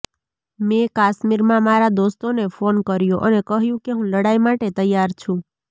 મે કાશ્મીરમાં મારા દોસ્તોને ફોન કર્યો અને કહ્યું કે હું લડાઈ માટે તૈયાર છું